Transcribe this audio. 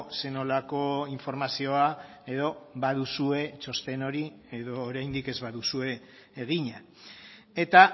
zer nolako informazioa edo baduzue txosten hori edo oraindik ez baduzue egina eta